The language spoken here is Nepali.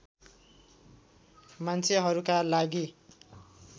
मान्छेहरूका लागि